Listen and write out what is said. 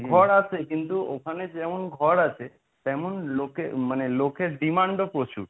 ঘর আসে কিন্তু ওখানে যেমন ঘর আছে তেমন লোকে মানে লোকের demand ও প্রচুর।